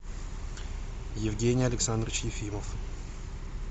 евгений александрович ефимов